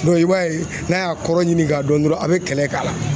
i b'a ye n'a y'a kɔrɔ ɲini k'a dɔn dɔrɔn a bɛ kɛlɛ k'a la